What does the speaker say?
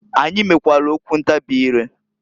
Anyị mekwalụ okwu ntabị ire.